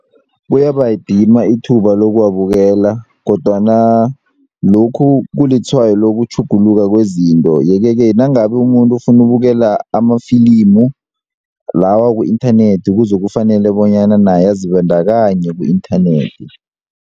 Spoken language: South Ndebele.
Kuyabayidima ithuba lokubabukela kodwana lokhu kulitshwayo lokutjhuguluka kwezinto yeke-ke nangabe umuntu ofuna ukubukela amafilimu lawa ku-inthanethi kuzokufanele bonyana naye azibandakanye ku-inthanethi.